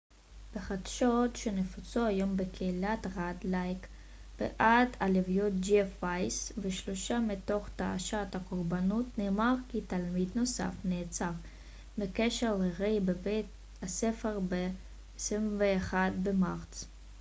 בחדשות שנפוצו היום בקהילת רד לייק בעת הלוויות ג'ף וייס ושלושה מתוך תשעת הקורבנות נאמר כי תלמיד נוסף נעצר בקשר לירי בבית הספר ב-21 במרץ